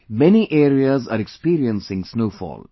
Many areas are experiencing snowfall